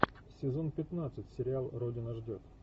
сезон пятнадцать сериал родина ждет